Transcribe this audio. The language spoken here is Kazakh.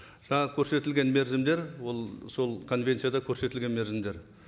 жаңа көрсетілген мерзімдер ол сол конвенцияда көрсетілген мерзімдер